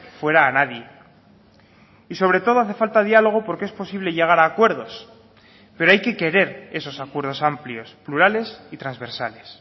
fuera a nadie y sobre todo hace falta diálogo porque es posible llegar a acuerdos pero hay que querer esos acuerdos amplios plurales y transversales